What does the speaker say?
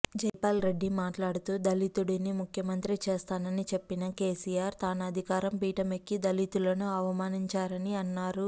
జైపాల్ రెడ్డి మాట్లాడుతూ దళితుడిని ముఖ్యమంత్రి చేస్తానని చెప్పిన కేసీఆర్ తాను అధికారం పీఠం ఎక్కి దళితులను అవమానించారని అన్నారు